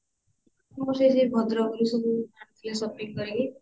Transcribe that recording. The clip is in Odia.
ମୁଁ ସେଇ ସବୁ ଭଦ୍ରକରୁ ଆଣିଥିଲି ସବୁ shopping କରିକି